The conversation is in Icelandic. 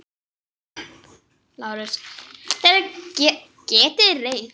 LÁRUS: Þér getið reynt.